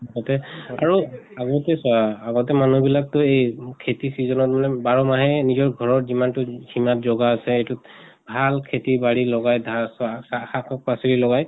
আগতে আৰু আগতে চোৱা আগতে মানুহ বিলাকতো এই খেতি season ত মানে বাৰ মাহে নিজৰ ঘৰত যিমানতো সিমাত জগা আছে এইটোত ভাল খেতি বাঢ়ি লগাই ধা চা চা শাক পাচলী লগাই